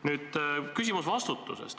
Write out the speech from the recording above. Nüüd, mul on küsimus vastutusest.